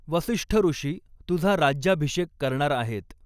वसिष्ठ ऋषी तुझा राज्याभिषेक करणार आहेत.